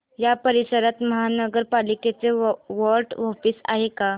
या परिसरात महानगर पालिकेचं वॉर्ड ऑफिस आहे का